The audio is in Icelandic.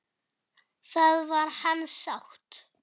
Það var hans sátt!